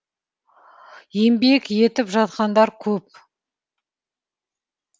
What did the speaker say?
еңбек етіп жатқандар көп